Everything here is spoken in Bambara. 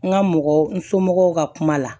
N ka mɔgɔ n somɔgɔw ka kuma la